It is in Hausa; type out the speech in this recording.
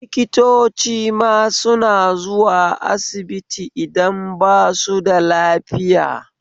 Likitocima suna zuwa asibiti idan basu da lafiya